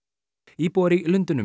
íbúar í Lundúnum